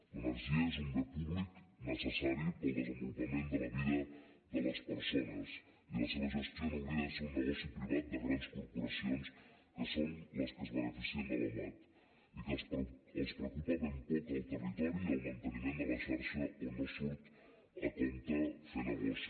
l’energia és un bé públic necessari per al desenvolupament de la vida de les persones i la seva gestió no hauria de ser un negoci privat de grans corporacions que són les que es beneficien de la mat i que els preocupa ben poc el territori i el manteniment de la xarxa on no surt a compte fer negoci